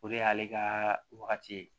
O de y'ale ka wagati ye